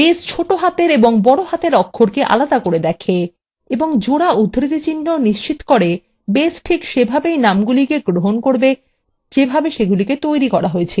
আমরা জানি যে base case সংবেদনশীল এবং জোড়া উদ্ধৃতিচিহ্ন নিশ্চিত করে base সেভাবেই নামগুলি গ্রহণ করবে যেভাবে সেগুলি তৈরী হয়েছিল